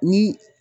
Ni